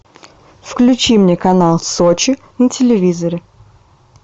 включи мне канал сочи на телевизоре